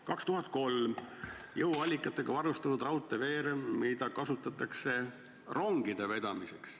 2003: jõuallikatega varustatud raudteeveerem, mida kasutatakse rongide vedamiseks.